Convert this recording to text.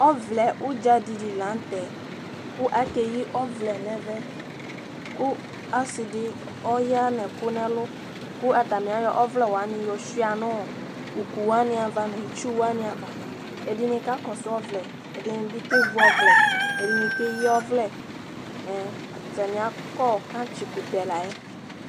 Ɔvlɛ udza di li la nu tɛ, ku ake yi ɔvlɛ nu ɛvɛ, ku ɔsi di ɔya nu ɛku nu ɛlu, ku ata ni ayɔ ɔvlɛ wani yɔ suia nu uku wani ava nu itsu wani ava, ɛdini ka kɔsu ɔvlɛ, ɛdini bi ke vi ɔvlɛ, ɛdini ke yi ɔvlɛ ɛ ata ni akɔ kantsi kutɛ la yɛ